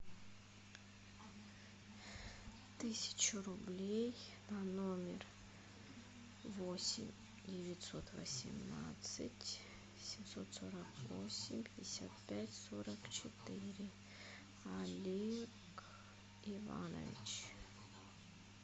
тысячу рублей на номер восемь девятьсот восемнадцать семьсот сорок восемь пятьдесят пять сорок четыре олег иванович